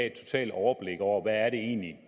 et totalt overblik over hvad det egentlig